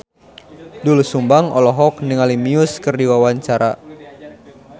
Doel Sumbang olohok ningali Muse keur diwawancara